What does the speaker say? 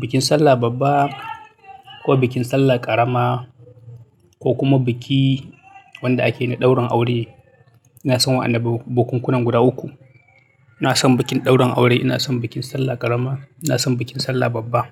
bikin sallah babba ko bikin sallah ƙarama, ko kuma biki wanda ake yi da daurin aure. Ina son wa'annan bukunkunan guda uku. Ina son bikin daurin aure, ina son bikin sallah ƙarama, ina son bikin sallah babba.